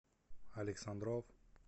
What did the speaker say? александров